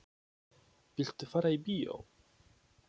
Viltu fara í bíó?